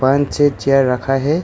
पान छः चेयर रखा है।